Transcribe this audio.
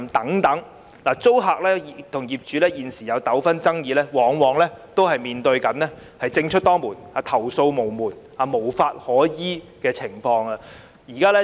現時，"劏房"租客和業主出現糾紛爭議，往往面對政出多門、投訴無門和無法可依的情況。